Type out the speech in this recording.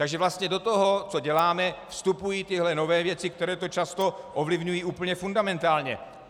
Takže vlastně do toho, co děláme, vstupují tyto nové věci, které to často ovlivňují úplně fundamentálně.